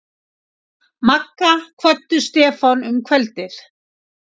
Magga kvöddu Stefán um kvöldið.